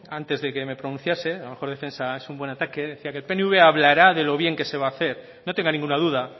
antes de que me pronunciase la mejor defensa es un buen ataque decía que el pnv hablará de lo bien que se va a hacer no tenga ninguna duda